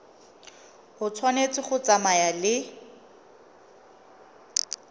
e tshwanetse go tsamaya le